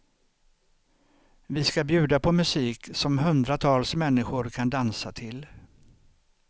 Vi ska bjuda på musik som hundratals människor kan dansa till.